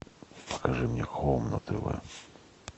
покажи мне хоум на тв